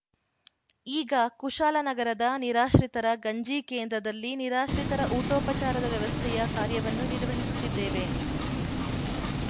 ಈಗ ಕುಶಾಲನಗರದ ನಿರಾಶ್ರಿತರ ಗಂಜಿ ಕೇಂದ್ರದಲ್ಲಿ ನಿರಾಶ್ರಿತರ ಊಟೋಪಚಾರದ ವ್ಯವಸ್ಥೆಯ ಕಾರ್ಯವನ್ನು ನಿರ್ವಹಿಸುತ್ತಿದ್ದೇವೆ